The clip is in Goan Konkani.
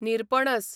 निरपणस